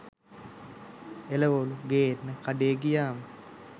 එළවලු ගෙන්න කඩේ ගියාම